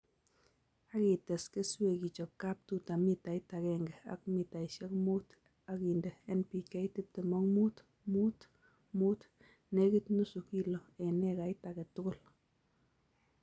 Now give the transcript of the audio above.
Asites keswek ichob kaptuta mitait agenge ak mitaishek muut ak inde NPK tiptem ak muut:muut:muut, nekit nusu kilo eng ekait age tugul